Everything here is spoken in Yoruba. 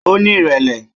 Ó ní ìrẹ̀lẹ́